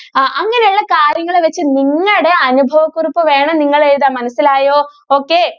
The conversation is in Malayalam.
ആ അങ്ങനെയുള്ള കാര്യങ്ങൾ വച്ച് നിങ്ങടെ അനുഭവ കുറിപ്പ് വേണം നിങ്ങൾ എഴുതാൻ മനസ്സിലായോ? okay